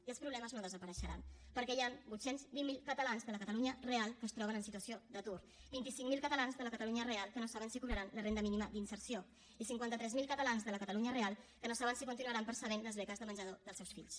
i els problemes no desapareixeran perquè hi han vuit cents i vint miler catalans de la catalunya real que es troben en situació d’atur vint cinc mil catalans de la catalunya real que no saben si cobraran la renda mínima d’inserció i cinquanta tres mil catalans de la catalunya real que no saben si continuaran percebent les beques de menjador dels seus fills